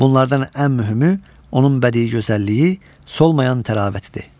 Bunlardan ən mühümü onun bədii gözəlliyi, solmayan təravətidir.